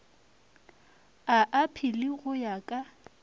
ya aphili go ya ka